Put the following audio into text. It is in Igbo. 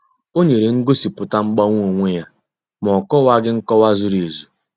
Ó nyere ngosipụta mgbanwe onwe ya, ma na ọ'kowaghi nkọwa zuru ezu.